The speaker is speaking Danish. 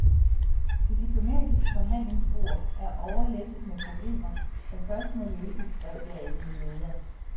Det diplomatiske forhandlingsbord er overlæsset med problemer, der først må løses, skrev bladet i en leder.